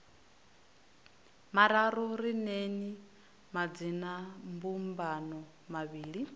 mararu ri neeni madzinambumbano mavhili